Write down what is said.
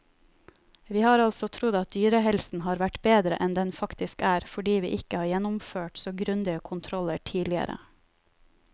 Vi har altså trodd at dyrehelsen har vært bedre enn den faktisk er, fordi vi ikke har gjennomført så grundige kontroller tidligere.